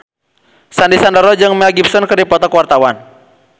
Sandy Sandoro jeung Mel Gibson keur dipoto ku wartawan